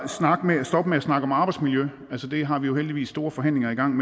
stoppe med at snakke om arbejdsmiljø det har vi jo heldigvis store forhandlinger i gang